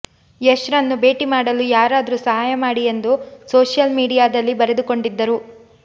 ಯಶ್ ರನ್ನು ಭೇಟಿ ಮಾಡಲು ಯಾರಾದ್ರೂ ಸಹಾಯ ಮಾಡಿ ಎಂದು ಸೋಷಿಯಲ್ ಮೀಡಿಯಾದಲ್ಲಿ ಬರೆದುಕೊಂಡಿದ್ದರು